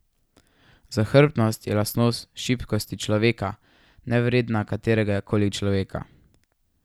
Zahrbtnost je lastnost šibkosti človeka, nevredna katerega koli človeka.